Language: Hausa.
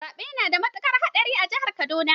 Zaɓe ya nada matukar haɗari a jihar Kaduna.